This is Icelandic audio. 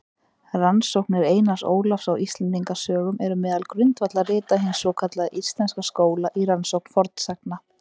Rannsóknir Einars Ólafs á Íslendingasögum eru meðal grundvallarrita hins svokallaða íslenska skóla í rannsókn fornsagna.